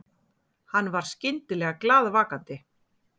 Hann var skyndilega glaðvakandi.